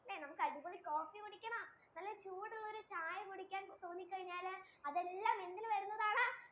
നമുക്ക് അടിപൊളി coffee കുടിക്കണം നല്ല ചൂട് ഉള്ള ഒരു ചായ കുടിക്കാൻ തോനി കഴിഞ്ഞാല് ഇതെല്ലം എന്തിൽ വരുന്നതാണ്? പറ